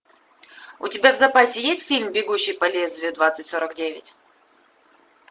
у тебя в запасе есть фильм бегущий по лезвию двадцать сорок девять